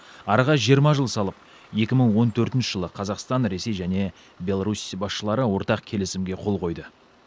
араға жиырма жыл салып екі мың он төртінші жылы қазақстан ресей және беларусь басшылары ортақ келісімге қол қойды